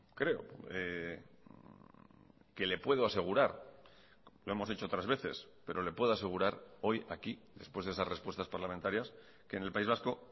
creo que le puedo asegurar lo hemos hecho otras veces pero le puedo asegurar hoy aquí después de esas respuestas parlamentarias que en el país vasco